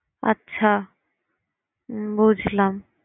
আচ্ছা বুঝলাম।